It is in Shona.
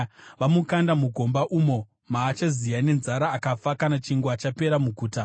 Vamukanda mugomba umo maachaziya nenzara akafa kana chingwa chapera muguta.”